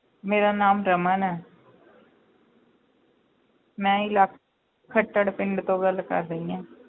ਮੇਰਾ ਨਾਮ ਰਮਨ ਹੈ ਮੈਂ ਇਲਾ~ ਖੱਟੜ ਪਿੰਡ ਤੋਂ ਗੱਲ ਕਰ ਰਹੀ ਹਾਂ।